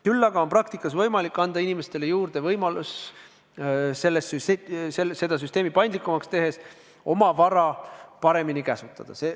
Küll aga on praktikas võimalik anda inimestele juurde võimalus – seda süsteemi paindlikumaks tehes – oma vara paremini käsutada.